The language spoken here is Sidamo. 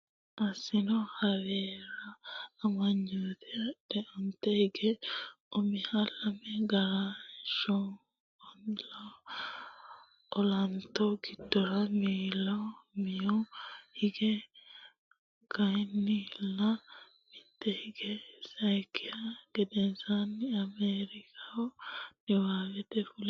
Assino heewora amanyoote agadhe onte hige umiha lame Gargarooshshu Olanto giddora miiloo mihu hige layinkihanna mitte hige sayikkiha gedensaanni Ameerikaho Niwuyoorkete fulino.